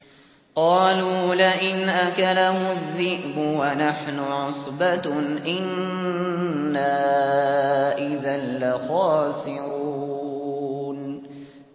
قَالُوا لَئِنْ أَكَلَهُ الذِّئْبُ وَنَحْنُ عُصْبَةٌ إِنَّا إِذًا لَّخَاسِرُونَ